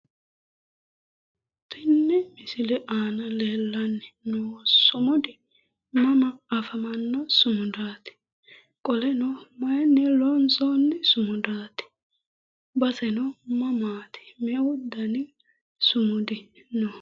Tenne misile aana leellanno sumudi mama afamanno sumudaati? Qoleno mayunni loonsoonni sumudaati? base mamaati? Me'u dani sumudi no?